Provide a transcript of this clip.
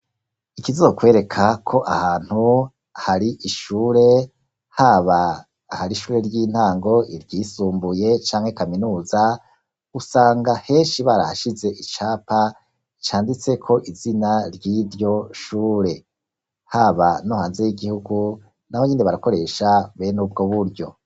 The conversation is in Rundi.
Ikizokwereka ko ahantu hari ishure haba ahari ishure ry'intango, iryisumbuye canke kaminuza, usanga henshi barahashize icapa canditseko izina ry'iryo shure, haba no hanze y'igihugu naho nyene barakoresha be nubwo buryo.